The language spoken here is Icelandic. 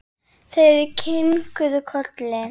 Þeir kinkuðu kolli.